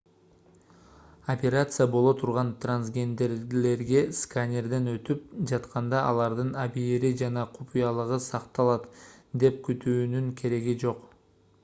операция боло турган трансгендерлерге сканерден өтүп жатканда алардын абийири жана купуялыгы сакталат деп күтүүнүн кереги жок